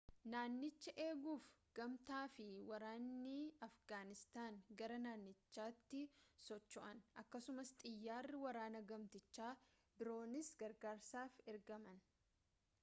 naanichaa eeguuf gamtaafi waraanni afgaanistaan gara naannichaatti socho'an akkasuma xiyyaarri waraanaa gamtichaa biroonis gargaarsaaf ergaman